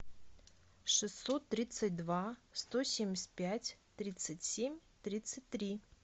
шестьсот тридцать два сто семьдесят пять тридцать семь тридцать три